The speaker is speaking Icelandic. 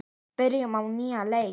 Byrjum á nýjan leik.